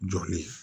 Jɔli